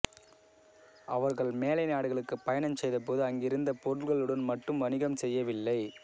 அவர்கள் மேலை நாடுகளுக்கு பயணம் செய்த போது அங்கிருந்த பொருள்களுடன் மட்டும் வணிகம் செய்யவில்லை